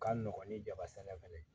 Ka nɔgɔn ni jaba sɛnɛ fɛnɛ